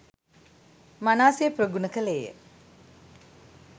මනාසේ ප්‍රගුණ කළේය.